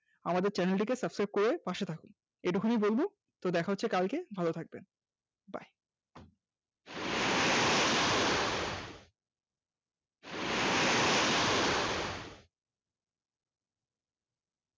আমাদের channel টিকে subscribe করে পাশে থাকতে। এটুকুনি বলবো দেখা হচ্ছে কালকে ভালো থাকবেন